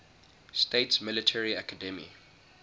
states military academy